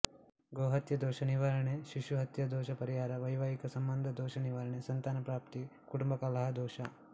ಗೋಹತ್ಯೆ ದೋಷ ನಿವಾರಣೆ ಶಿಶು ಹತ್ಯಾದೋಷ ಪರಿಹಾರವೈವಾಹಿಕ ಸಂಬಂಧ ದೋಷ ನಿವಾರಣೆಸಂತಾನ ಪ್ರಾಪ್ತಿ ಕುಟುಂಬ ಕಲಹ ದೋಷ